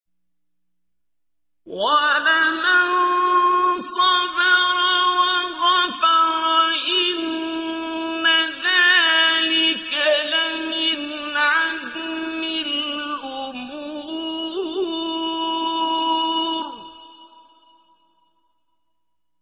وَلَمَن صَبَرَ وَغَفَرَ إِنَّ ذَٰلِكَ لَمِنْ عَزْمِ الْأُمُورِ